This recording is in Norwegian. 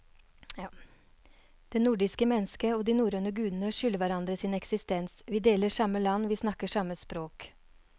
Det nordiske mennesket og de norrøne guder skylder hverandre sin eksistens, vi deler samme land, vi snakker samme språk.